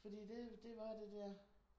Fordi det det var det der